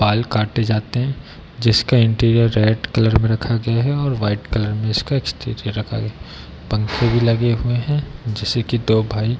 बाल काटे जाते हैं जिसका इंटेरियर रेड कलर में रखा गया है और वाइट कलर में इसका एक्सटेरियर रखा गया है | पंखे भी लगे हुए हैं जैसे की दो भाई --